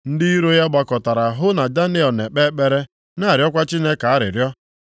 Ndị iro ya gbakọtara hụ na Daniel na-ekpe ekpere na-arịọkwa Chineke arịrịọ.